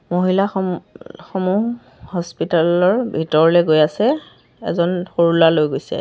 মহিলা সমূ সমূহ হস্পিতাল ৰ ভিতৰলৈ গৈ আছে এজন সৰু ল'ৰা লৈ গৈছে।